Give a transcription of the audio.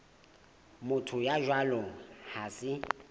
motho ya jwalo ha se